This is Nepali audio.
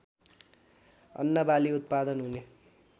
अन्नबाली उत्पादन हुने